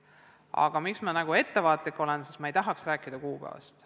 Aga praegu ma olen ettevaatlik, sest ma ei tahaks veel rääkida kuupäevast.